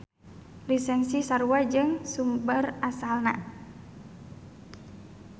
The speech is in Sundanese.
Lisensi sarua jeung sumber asalna.